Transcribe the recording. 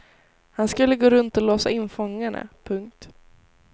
Han skulle gå runt och låsa in fångarna. punkt